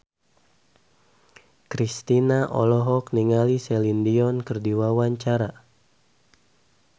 Kristina olohok ningali Celine Dion keur diwawancara